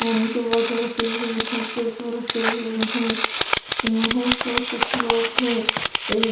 पानी कि बॉटल रखी हुई है यहां पेपर रखे हुए हैं यहाँ पर कुछ लोग हैं एक--